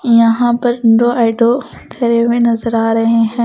यहां पर दो ऑटो खड़े हुए नजर आ रहे हैं ।